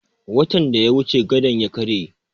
Watan da ya wuce gadon ya karye